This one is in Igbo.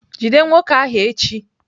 Jide nwoke ahu echi!